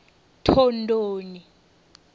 thondoni